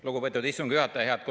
Lugupeetud istungi juhataja!